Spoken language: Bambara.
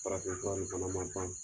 Farafin fura in fan ban.